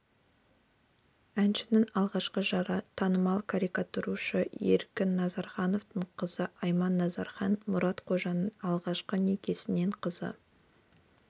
әншінің алғашқы жары танымал карикатурашы еркін назырханның қызы айман назырхан мұрат қожаның алғашқы некесінен қызы